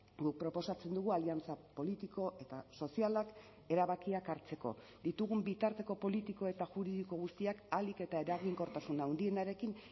guk proposatzen dugu aliantza politiko eta sozialak erabakiak hartzeko ditugun bitarteko politiko eta juridiko guztiak ahalik eta eraginkortasun handienarekin